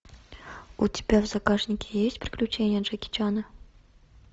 у тебя в загашнике есть приключения джеки чана